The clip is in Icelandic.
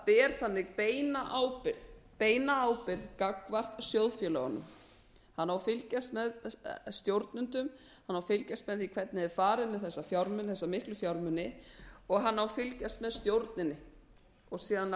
ber þannig beina ábyrgð gagnvart sjóðfélögunum hann á að fylgjast með stjórnendum hann á að fylgjast með því hvernig er farið með þessa miklu fjármuni og hann á að fylgjast með stjórninni og síðan